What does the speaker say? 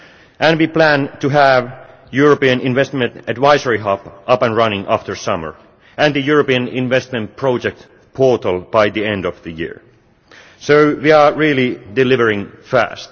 and we plan to have the European Investment Advisory Hub up and running after the summer, and the European Investment Project Portal by the end of the year. So we are really delivering fast.